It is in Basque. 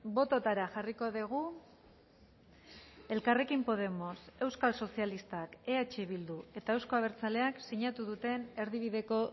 bototara jarriko dugu elkarrekin podemos euskal sozialistak eh bildu eta euzko abertzaleak sinatu duten erdibideko